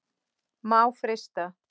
Má frysta.